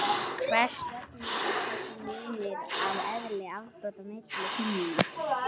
hvers vegna er þessi munur á eðli afbrota milli kynjanna